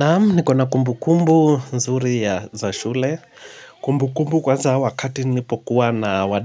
Naam, nikona kumbu kumbu nzuri ya za shule. Kumbu kumbu kwanza wakati nilipokuwa na